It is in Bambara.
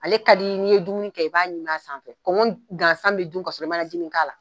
Ale ka di i n'i ye dumuni kɛ, i b'a ɲim'a sanfɛ, kɔngɔ gasan bɛ dun ka sɔrɔ i ma najini k'a la.